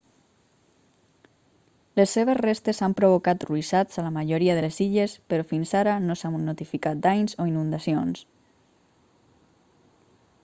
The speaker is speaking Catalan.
les seves restes han provocat ruixats a la majoria de les illes però fins ara no s'ha notificat danys o inundacions